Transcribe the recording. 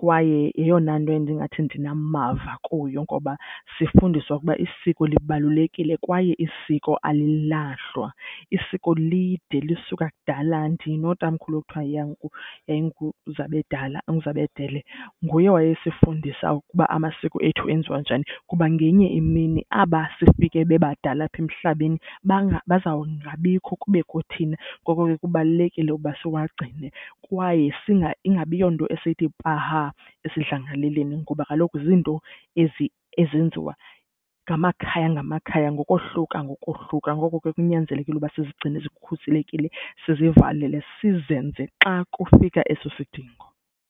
kwaye yeyona nto endingathi ndinamava kuyo ngoba sifundiswa ukuba isiko libalulekile kwaye isiko alilahlwa. Isiko lide, lisuka kudala. Ndinotamkhulu kuthiwa yiyanguZabedala, uMzabedele, nguye owayesifundisa ukuba amasiko ethu enziwa njani kuba ngenye imini aba sifike bebadala apha emhlabeni bazawungabikho kubekho thina, ngoko ke kubalulekile ukuba siwagcine. Kwaye ingabi yonto esiyithi paha esidlangalaleni ngoba kaloku zinto ezi ezenziwa ngamakhaya ngamakhaya ngokohluka ngokohluka. Ngoko ke kunyanzelekile uba sizigcine zikhuselekile sizivavalele, sizenze xa kufika eso sidingo.